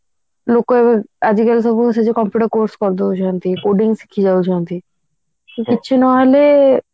ଲୋକ ଆଜିକାଲି ସବୁ computer course କରି ଦଉଛନ୍ତି coding ଶିଖି ଯାଉଛନ୍ତି କିଛି ନହେଲେ